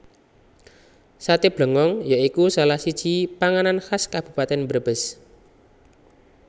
Saté Blengong ya iku salah siji panganan khas Kabupatèn Brebes